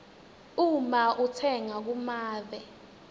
uma utsenga kumave